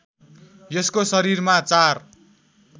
यसको शरीरमा चार